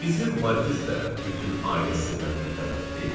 Bizim Markiz də bütün ailə sirlərinə bələddir?